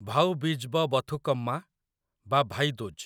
ଭାଉ ବୀଜ୍ ବ ବଥୁକମ୍ମା ବା ଭାଇ ଦୂଜ୍